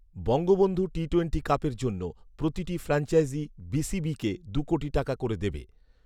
Bangabandhu T twenty কাপের জন্য প্রতিটি ফ্রাঞ্চাইজি বিসিবিকে দু কোটি টাকা করে দেবে